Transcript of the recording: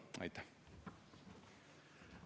Aitäh!